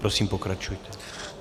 Prosím, pokračujte.